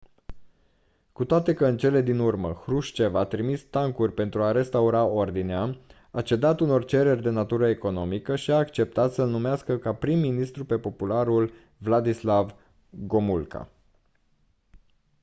cu toate că în cele din urmă hrușcev a trimis tancuri pentru a restaura ordinea a cedat unor cereri de natură economică și a acceptat să-l numească ca prim ministru pe popularul wladyslaw gomulka